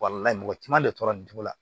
mɔgɔ caman de tora nin cogo la